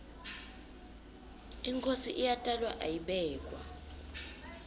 inkhosi iyatalwa ayibekwa